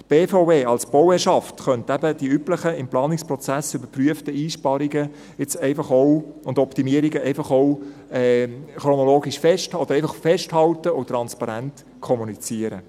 Die BVE als Bauherrschaft könnte eben die üblichen im Planungsprozess überprüften Einsparungen und Optimierungen einfach auch chronologisch festhalten, einfach festhalten und transparent kommunizieren.